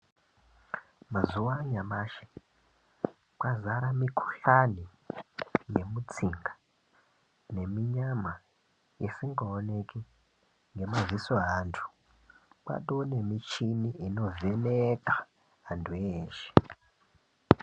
Mazuva anyamashi kwazara mikuhlani ne mutsinga nemi nyama isinga oneki ne maziso evantu kwato ne michini ino vheneka antu eshe.